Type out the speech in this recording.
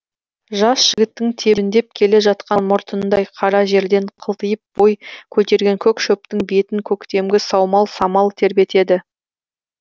жас жігіттің тебіндеп келе жатқан мұртындай қара жерден қылтиып бой көтерген көк шөптің бетін көктемгі саумал самал тербетеді